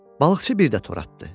Balıqçı bir də tor atdı.